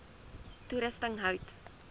toerusting hout